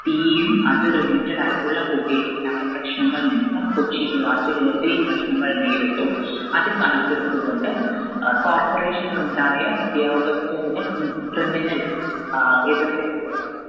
തീയും അത് related ആയിട്ടുള്ള പുകയും ഉണ്ടായ പ്രശ്നങ്ങൾ നിമിത്തം കൊച്ചി നിവാസികൾ ഒത്തിരി പ്രശ്‍നങ്ങൾ നേരിട്ടു. അത് കണക്കെടുത്തുകൊണ്ട് Corporation ലുണ്ടായ ഉദ്യോഗസ്ഥരുടെ criminal എതിർ അഹ്